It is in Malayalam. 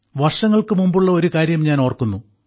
വർഷങ്ങൾക്ക് മുമ്പുള്ള ഒരു കാര്യം ഞാൻ ഓർക്കുന്നു